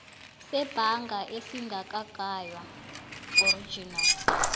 sebhanga esingakagaywa original